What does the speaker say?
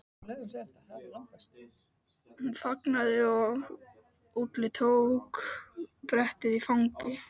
Hún þagnaði og Úlli tók brettið í fangið.